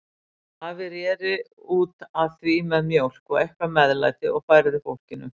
Afi reri út að því með mjólk og eitthvert meðlæti og færði fólkinu.